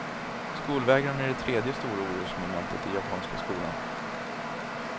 Skolvägran är det tredje stora orosmomentet i japanska skolan.